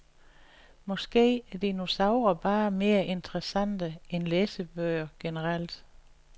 Måske er dinosaurer bare mere interessante end læsebøger generelt.